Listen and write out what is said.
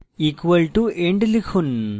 = end লিখুন